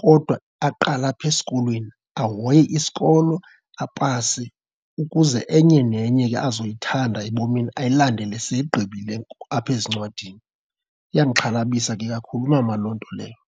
kodwa aqale apha esikolweni, ahoye isikolo. Apase ukuze enye nenye ke azo yithanda ebomini ayilandele segqibile apha ezincwadini. Iyandixhalabisa ke kakhulu mama loo nto leyo.